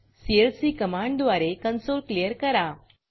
CLC कमांडद्वारे console clear करा